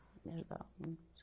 Me ajudava muito.